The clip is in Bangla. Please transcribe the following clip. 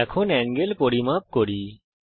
এঙ্গেল পরিমাপ করি